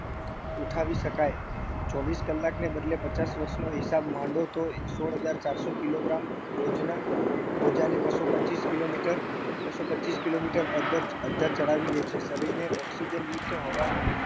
ઉઠાવી શકાય ચોવીસ કલાકને બદલે પચાસ વર્ષનો હિસાબ માંડો તો એ સોળ હજાર ચારસો kilogram બોજના બોજાને બસ્સો પચીસ kilometer બસ્સો પચીસ kilometer અધ્ધર અધ્ધર ચડાવી દે છે શરીરને oxygen યુક્ત હવાનો